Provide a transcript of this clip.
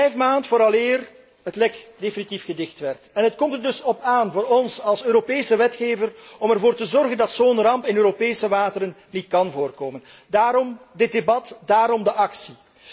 Het duurde vijfde maanden vooraleer het lek definitief gedicht werd. Het komt er dus op aan voor ons, als Europese wetgever, ervoor te zorgen dat zo'n ramp in Europese wateren niet kan voorkomen. Daarom dit debat. Daarom de actie.